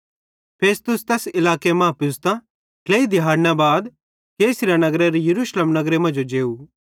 फेस्तुस तैस इलाके मां पुज़तां ट्लेई दिहैड़ना बाद कैसरिया नगरेरां यरूशलेम नगरे मांजो जेव